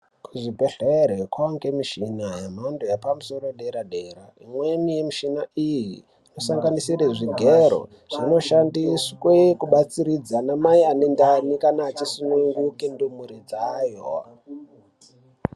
Kuzvibhedhleri kwaange mushina yemhando yepamusoro dera dera imweni mishina iyi sanganisire zvigero zvinoshandiswe kubatsiridza ana mai ane ndani kana achisunguke ndumure dzayo .